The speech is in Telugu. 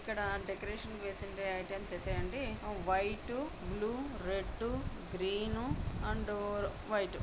ఇక్కడ డెకరేషన్ కి వేసేటి ఐటమ్స్ అయితే అండి. వైట్ బ్ల్యూ రెడ్ ఉ గ్రీన్ ఉ అండ్ వైట్